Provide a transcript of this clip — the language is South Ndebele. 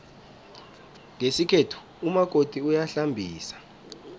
ngesikhethu umakoti uyahlambisa